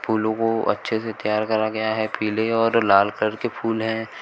फूलों को अच्छे से तैयार करा गया है पीले और लाल कलर के फूल है।